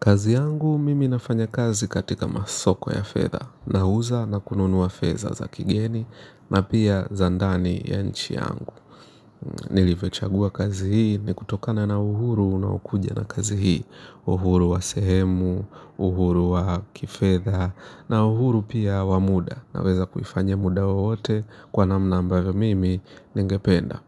Kazi yangu mimi nafanya kazi katika masoko ya fedha, nauza na kununua fedha za kigeni na pia za ndani ya nchi yangu. Nilivyochagua kazi hii ni kutokana na uhuru unaokuja na kazi hii. Uhuru wa sehemu, uhuru wa kifedha na uhuru wa muda. Naweza kuifanya muda wowote kwa namna ambavyo mimi ningependa.